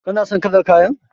Kana son kalar kayan?